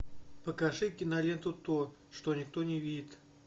покажи киноленту то что никто не видит